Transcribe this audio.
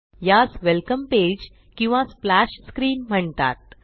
यास welcome page किंवा splash screen म्हणतात